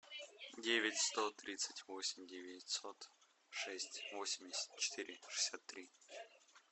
девять сто тридцать восемь девятьсот шесть восемьдесят четыре шестьдесят три